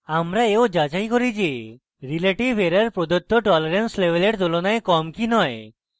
আমরা এও যাচাই করি যে relative error প্রদত্ত tolerance level তুলনায় কম কি নয়